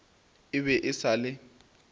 e be e sa le